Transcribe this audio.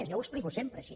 jo ho explico sempre així